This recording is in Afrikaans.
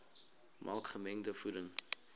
maak gemengde voeding